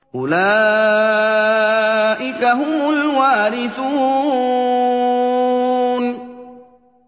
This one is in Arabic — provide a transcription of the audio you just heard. أُولَٰئِكَ هُمُ الْوَارِثُونَ